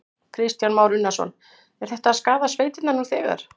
Kristján Már Unnarsson: Er þetta að skaða sveitirnar nú þegar?